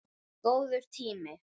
Góður tími.